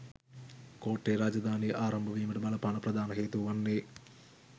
කෝට්ටේ රාජධානිය ආරම්භ වීමට බලපාන ප්‍රධාන හේතුව වන්නේ